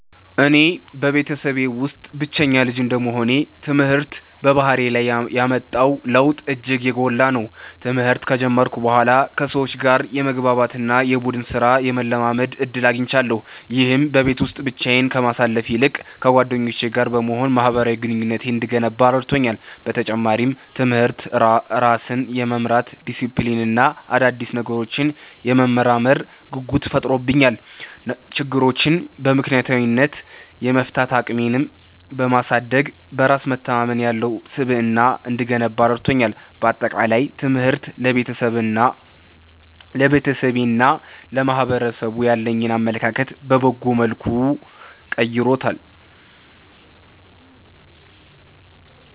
እኔ በቤተሰቤ ውስጥ ብቸኛ ልጅ እንደመሆኔ፣ ትምህርት በባህሪዬ ላይ ያመጣው ለውጥ እጅግ የጎላ ነው። ትምህርት ከጀመርኩ በኋላ ከሰዎች ጋር የመግባባት እና የቡድን ሥራን የመለማመድ ዕድል አግኝቻለሁ። ይህም በቤት ውስጥ ብቻዬን ከማሳልፍ ይልቅ ከጓደኞቼ ጋር በመሆን ማኅበራዊ ግንኙነቴን እንድገነባ ረድቶኛል። በተጨማሪም፣ ትምህርት ራስን የመምራት ዲሲፕሊን እና አዳዲስ ነገሮችን የመመርመር ጉጉት ፈጥሮብኛል። ችግሮችን በምክንያታዊነት የመፍታት አቅሜን በማሳደግ፣ በራስ መተማመን ያለው ስብዕና እንድገነባ ረድቶኛል። በአጠቃላይ፣ ትምህርት ለቤተሰቤና ለማኅበረሰቡ ያለኝን አመለካከት በበጎ መልኩ ቀይሮታል።